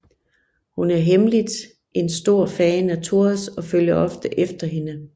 Hun er hemmeligt en stor fan af Thouars og følger ofte efter hende